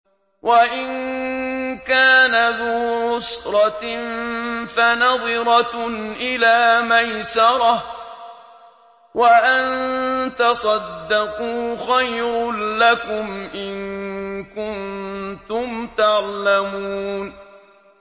وَإِن كَانَ ذُو عُسْرَةٍ فَنَظِرَةٌ إِلَىٰ مَيْسَرَةٍ ۚ وَأَن تَصَدَّقُوا خَيْرٌ لَّكُمْ ۖ إِن كُنتُمْ تَعْلَمُونَ